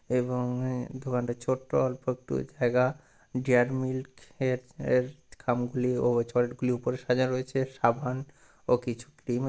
এবং এ দোকানটা ছোট্ট অল্প একটু জায়গা ডেয়ারি মিল্ক এর এর খাম গুলি ও চকলেট গুলি উপর সাজা রয়েছে সাবান ও কিছু ক্রিম --